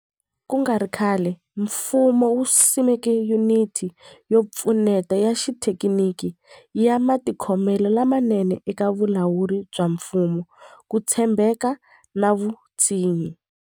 Ku nga ri khale, mfumo wu simeke Yuniti yo Pfuneta ya Xithekiniki ya Matikhomelo lamanene eka Vulawuri bya Mfumo, Ku tshembeka na Vutshinyi.